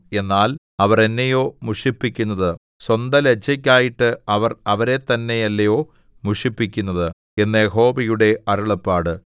എന്നാൽ അവർ എന്നെയോ മുഷിപ്പിക്കുന്നത് സ്വന്തലജ്ജയ്ക്കായിട്ട് അവർ അവരെത്തന്നെയല്ലയോ മുഷിപ്പിക്കുന്നത് എന്ന് യഹോവയുടെ അരുളപ്പാട്